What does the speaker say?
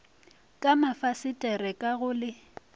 ka mafasetere ka go le